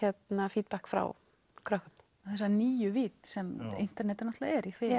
feedback frá krökkum og þessa nýju vídd sem internetið er í þeim